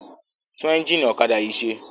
Tún ẹ́ńjínì ọ̀kadà yìí ṣe!